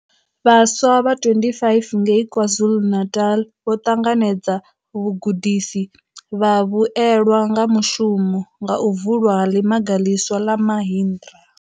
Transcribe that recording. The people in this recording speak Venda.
Vhaswa vha 25 ngei KwaZulu-Natal vho ṱanganedza vhugudisi vha vhuelwa nga mushumo nga u vulwa ha Ḽimaga ḽiswa ḽa Mahindra.